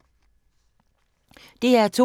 DR2